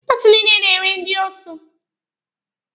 Paati niile na-enwe ndị otu.